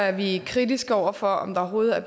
at vi er kritiske over for om der overhovedet er